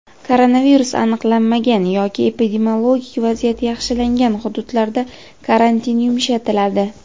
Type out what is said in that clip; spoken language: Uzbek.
Koronavirus aniqlanmagan yoki epidemiologik vaziyat yaxshilangan hududlarda karantin yumshatiladi.